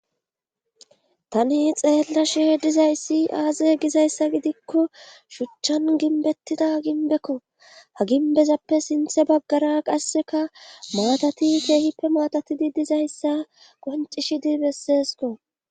Tani xeellashe dizayssi aaze gizayssa gidikko shuchchan ginbettida ginbekko ha ginbezappe sinthe baggara qasseka maatati keehippe maatatidi dizayssa qoncishidi besesko